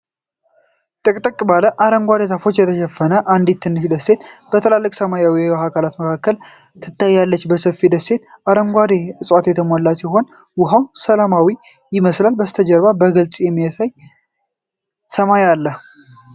ጥቅጥቅ ባለ አረንጓዴ ዛፎች የተሸፈነች አንዲት ትንሽ ደሴት በትልቅ ሰማያዊ የውሃ አካል መካከል ትታያለች። ሰፊው ደሴት በአረንጓዴ ዕፅዋት የተሞላች ሲሆን፣ ውሀው ሰላማዊ ይመስላል። ከበስተጀርባ በግልጽ የሚታይ ሰማያዊ ሰማይ አለ።